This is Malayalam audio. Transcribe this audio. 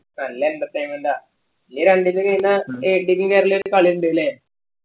നല്ല entertainment ആ ഇനി രണ്ടീസം കഴിഞ്ഞാ ഉം കേരളയു ആയിട്ട് കളി ഇണ്ട് ല്ലേ